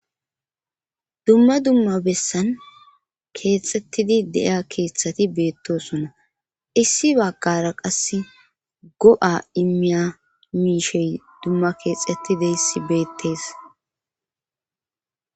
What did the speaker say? dumma dumma bessan keexxettidi deiya keeththati beettosona issi baggara qass go'a immiya miishey dumma keexettideyssi beettes